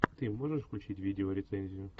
ты можешь включить видеорецензию